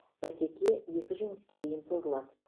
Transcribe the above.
бәсеке екі жеңіске дейін созылады